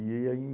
E aí, em